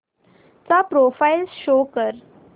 चा profile show कर